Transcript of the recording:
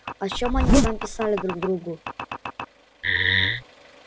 о чём они там писали друг другу